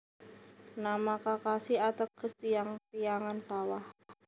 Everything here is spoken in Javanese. Nama Kakashi ateges tiyang tiyangan sawah